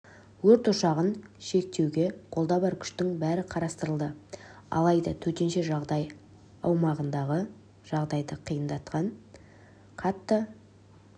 өрт ошағын шектеуге қолда бар күштің бәрі қатыстырылды алайда төтенше жағдай аумағындағы жағдайды қиындатқан қатты